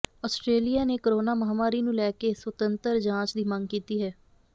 Australia ਨੇ corona ਮਹਾਮਾਰੀ ਨੂੰ ਲੈ ਕੇ ਸੁਤੰਤਰ ਜਾਂਚ ਦੀ ਮੰਗ ਕੀਤੀ ਹੈ